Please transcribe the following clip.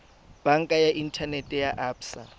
banka ya inthanete ya absa